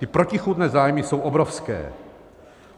Ty protichůdné zájmy jsou obrovské.